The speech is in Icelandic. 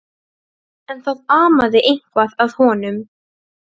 Átti ég virkilega að setjast í stólinn?